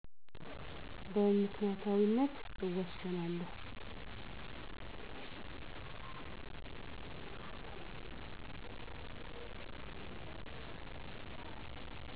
በምክንዪታዊነት እወስናለሁ።